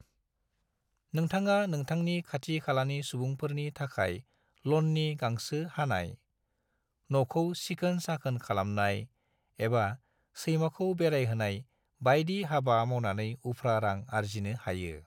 नोंथाङा नोंथांनि खाथि-खालानि सुबुंफोरनि थाखाय लननि गांसो हानाय, नखौ सिखोन-साखोन खालामनाय, एबा सैमाखौ बेरायहोनाय बायदि हाबा मावनानै उफ्रा रां आर्जिनो हायो।